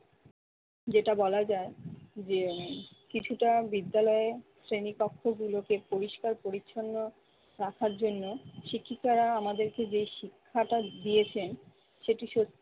যেটা বলা যায় যে কিছুটা বিদ্যালয়ের শ্রেণিকক্ষ গুলোকে পরিষ্কার পরিচ্ছন্ন রাখার জন্য শিক্ষিকারা আমাদেরকে যে শিক্ষাটা দিয়েছেন সেটি সত্যি